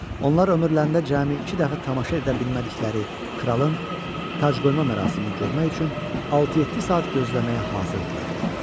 Onlar ömürlərində cəmi iki dəfə tamaşa edə bilmədikləri kralın tacqoyma mərasimini görmək üçün 6-7 saat gözləməyə hazır idilər.